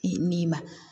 Min ma